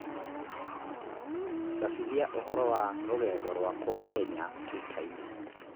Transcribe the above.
cabithia ũhoro wa rũgendo rwakwa Kenya twitter-inĩ